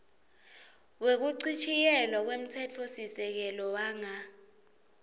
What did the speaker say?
wekuchitjiyelwa kwemtsetfosisekelo wanga